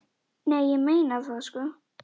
Nei, ég meina það, sko.